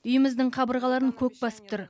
үйіміздің қабырғаларын көк басып тұр